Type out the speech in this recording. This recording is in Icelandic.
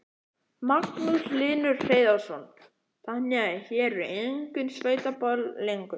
Magnús Hlynur Hreiðarsson: Þannig að hér eru engin sveitaböll lengur?